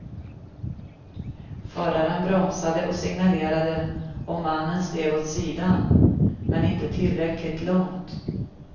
Föraren bromsade och signalerade och mannen steg åt sidan, men inte tillräckligt långt.